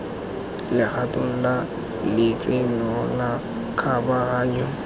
legatong la letseno la kgabaganyo